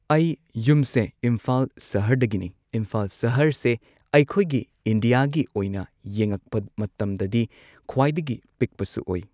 ꯑꯩ ꯌꯨꯝꯁꯦ ꯏꯝꯐꯥꯜ ꯁꯍꯔꯗꯒꯤꯅꯤ ꯏꯝꯐꯥꯜ ꯁꯍꯔꯁꯦ ꯑꯩꯈꯣꯏꯒꯤ ꯏꯟꯗꯤꯌꯥꯒꯤ ꯑꯣꯏꯅ ꯌꯦꯡꯉꯛꯄ ꯃꯇꯝꯗꯗꯤ ꯈ꯭ꯋꯥꯏꯗꯒꯤ ꯄꯤꯛꯄꯁꯨ ꯑꯣꯏ꯫